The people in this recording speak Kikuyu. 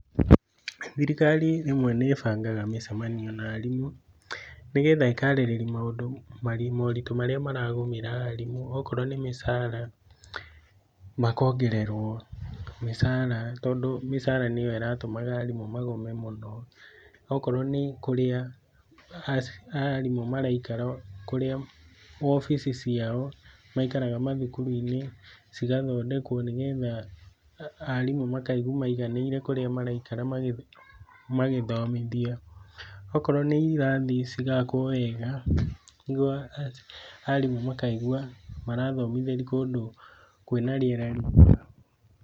Thirikari rĩmwe nĩ ĩbangaga mĩcemanio na arimũ nĩgetha ĩkarĩrĩria maũndũ moritũ marĩa maragũmĩra arimũ, okorwo nĩ mĩcara, makongererwo mĩcara tondũ mĩcara nĩyo ĩratũmaga arimũ magome mũno. Okorũo nĩ kũrĩa arimũ maraikara, kũrĩa wobici ciao maikaraga mathukuru-inĩ, cigathondekwo nĩ getha arimũ makaigua maiganĩire kũrĩa maraikara magĩthomithia. Okorwo nĩ irathi, cigakwo wega nĩguo arimũ makaigua marathomithĩria kũndũ kwĩna rĩera rĩega.